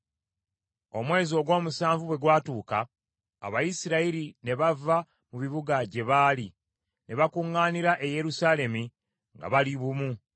Omwezi ogw’omusanvu bwe gwatuuka, Abayisirayiri ne bava mu bibuga gye baali, ne bakuŋŋaanira e Yerusaalemi nga bali bumu.